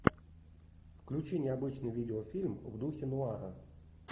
включи необычный видеофильм в духе нуара